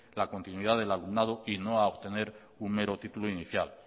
la continuidad del alumnado y no a obtener un mero título inicial